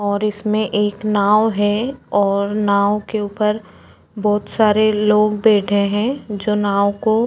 ओर इसमे एक नाव है ओर नाव के उपर बोत सारे लोग बैठे हैं जो नाव को --